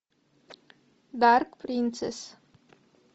дарк принцесс